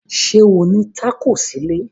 Ṣé ó ní tákò sílé?